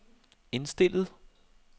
indstillet